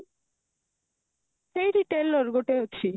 ସେଇଠି tailor ଗୋଟେ ଅଛି